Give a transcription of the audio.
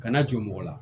Kana jur'u la